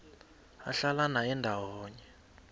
ahlala naye ndawonye